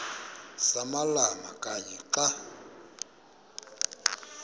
samalama kanye xa